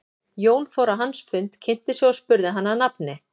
Jón fór á hans fund, kynnti sig og spurði hann að nafni.